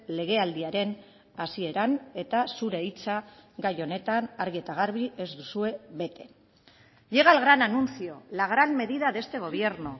legealdiaren hasieran eta zure hitza gai honetan argi eta garbi ez duzue bete llega el gran anuncio la gran medida de este gobierno